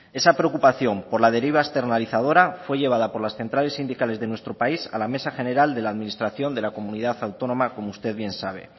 esa preocupación por la deriva externalizadora fue llevada por las centrales sindicales de nuestro país a la mesa general de la administración de la comunidad autónoma como usted bien sabe